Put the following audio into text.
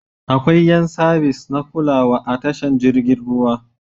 Akwai yan sabis na kulawa a tashar jirgin ruwa.